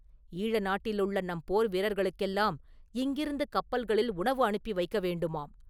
ஈழ நாட்டிலுள்ள நம் போர் வீரர்களுக்கெல்லாம் இங்கிருந்து கப்பல்களில் உணவு அனுப்பி வைக்க வேண்டுமாம்!